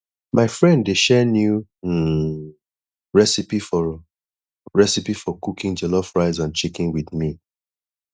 my friend dey share new um recipe for recipe for cooking jollof rice and chicken with me